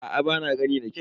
Aa ba na gani da kyau.